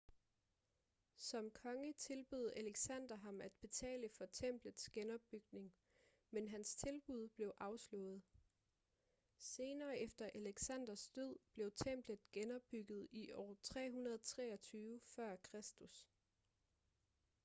som konge tilbød alexander ham at betale for templets genopbygning men hans tilbud blev afslået senere efter alexanders død blev templet genopbygget i år 323 f.kr